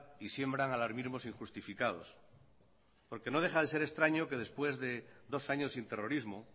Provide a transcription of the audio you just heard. y siembran alarmismos injustificados porque no deja de ser extraño que después de dos años sin terrorismo